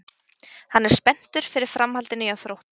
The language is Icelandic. Hann er spenntur fyrir framhaldinu hjá Þrótti.